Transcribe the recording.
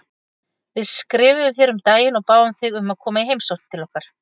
Við skrifuðum þér um daginn og báðum þig um að koma í heimsókn til okkar.